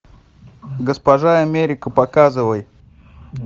госпожа америка показывай